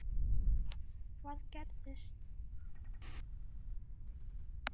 Elísabet Hall: Hvað gerðist?